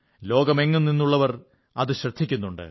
ലോകമെങ്ങും നിന്നുള്ളവർ അത് ശ്രദ്ധിക്കുന്നുണ്ട്